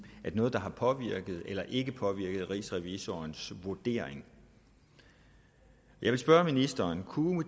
at noget har påvirket eller ikke påvirket rigsrevisorens vurdering jeg vil spørge ministeren kunne